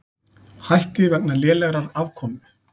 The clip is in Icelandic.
Hætti vegna lélegrar afkomu